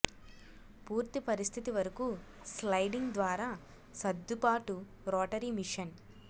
పూర్తి పరిస్థితి వరకు స్లయిడింగ్ ద్వారా సర్దుబాటు రోటరీ మోషన్